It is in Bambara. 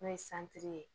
N'o ye santiri ye